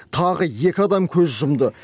тағы екі адам көз жұмды